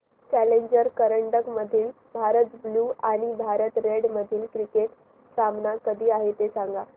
challenger करंडक मधील Bharat blue आणि भारत रेड मधील क्रिकेट सामना कधी आहे ते सांगा